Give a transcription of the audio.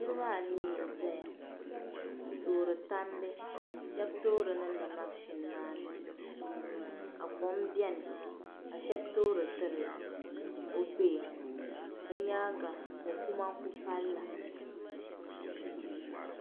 Niraba anii n ʒɛya n toori tandi shab toori niŋdi mashin maa ni ka kom biɛni ka shab toori tiri o kpee bi nyaanga mo kuma n ku pali la